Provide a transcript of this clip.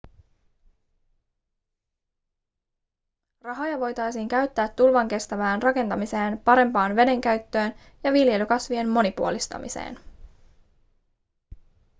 rahoja voitaisiin käyttää tulvankestävään rakentamiseen parempaan vedenkäyttöön ja viljelykasvien monipuolistamiseen